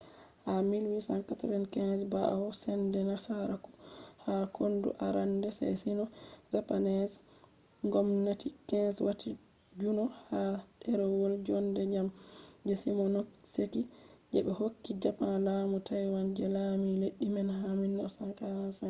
ha 1895 ɓawo sende nasaraku ha kondu arande je sino-japanese 1894-1895 ngomnati qing wati juno ha ɗerewol jonde jam je shimonoseki je be hokki japan laamu taiwan je laami leddi man ha 1945